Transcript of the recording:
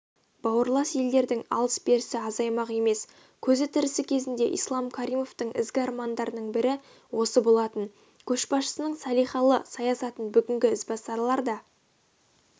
бауырлас елдердің алыс-берісі азаймақ емес көзі тірісі кезінде ислам каримовтің ізгі армандарының бірі осы болатын көшбасшының салиқалы саясатын бүгінгі ізбасарлар да